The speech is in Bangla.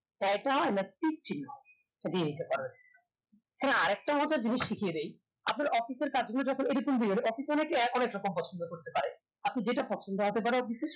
না টিক ছিনন্ন আপনি নিতে পারেন হ্যাঁ আর একটা জিনিস শিখিয়ে দেয় আপনার office এর কাজ গুলো দিয়ে office এ অনেকে অনেক কিছু পছন্ধ করতে পারে আপনি যেটা পছন্দ হতে পারে office এ